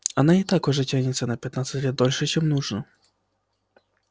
она и так уже тянется на пять лет дольше чем нужно